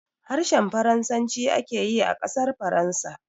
Harshen Faransaci ake yi a ƙasar Faransa.